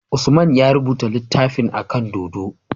Usman ya rubuta litafin akan dodo